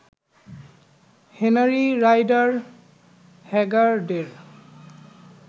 Henry Rider হ্যাগার্ডের